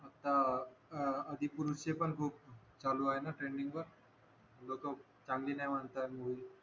आह आदिपुरुष चे पण खूप चालू आहे ना टेंडिंगवर जो तो चांगली आहे म्हणता मूवी